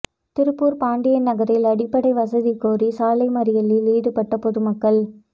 திருப்பூர் பாண்டியன் நகரில் அடிப்படை வசதி கோரி சாலை மறியலில் ஈடுபட்ட பொதுமக்கள்